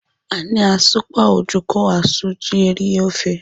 A na-asụkwa ojoko asụ iji rie ofe.